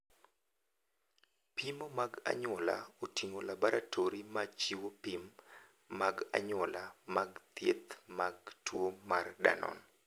Pimo mag anyuola oting'o laboratori ma chiwo pim mag anyuola mag thieth mag tuo mar Danon.